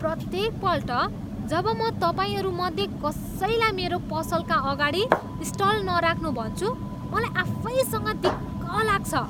प्रत्येकपल्ट जब म तपाईँहरू मध्ये कसैलाई मेरो पसलका अगाडि स्टल नराख्नू भन्छु, मलाई आफैसँग दिक्क लाग्छ।